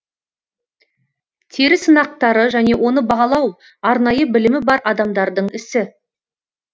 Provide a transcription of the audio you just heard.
тері сынақтары және оны бағалау арнайы білімі бар адамдардың ісі